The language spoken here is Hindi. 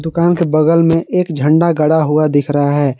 दुकान के बगल में एक झंडा गड़ा हुआ दिख रहा है।